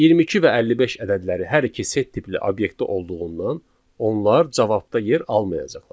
22 və 55 ədədləri hər iki set tipli obyektdə olduğundan, onlar cavabda yer almayacaqlar.